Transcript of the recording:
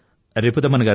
ధన్యవాదాలు సార్